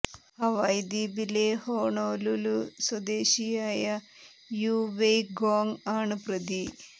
Hawaii ദ്വീപിലെ Honolulu സ്വദേശിയായ Yu Wei Gong ആണ് പ്രതി